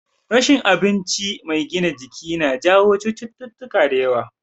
Rashin abinci mai gina jiki na jawo cututtuka da yawa